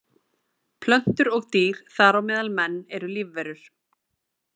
Plöntur og dýr, þar á meðal menn, eru lífverur.